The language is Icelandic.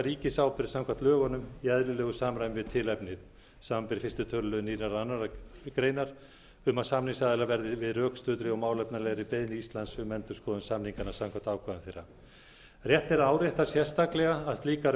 ríkisábyrgð samkvæmt lögunum í eðlilegu samræmi við tilefnið samanber fyrsta tölulið nýrrar annarrar greinar um að samningsaðilar verði við rökstuddri og málefnalegri beiðni íslands um endurskoðun samninganna samkvæmt ákvæðum þeirra rétt er að árétta sérstaklega að slíkar